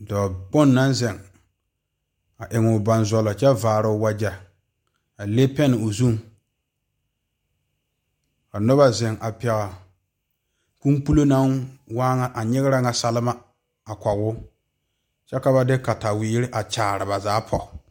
Dɔɔ kpoŋ naŋ zeŋ a eŋ o bonzɔlɔ a le peŋ o zu ka noba zeŋ a pegle naŋ waa nyɛ a ŋa selma a kɔŋ o kyɛ ka ba de katawiɛ a Kyaara ba zaa poɔ.